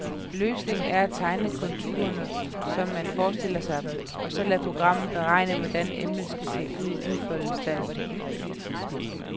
Løsningen er at tegne konturerne, som man forestiller sig dem, og så lade programmet beregne, hvordan emnet ser ud i udfoldet stand.